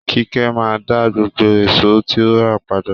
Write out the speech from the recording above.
Kíkẹ́ máa daá gbogbo èsò tí ó rà padà